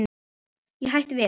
Ég hætti við.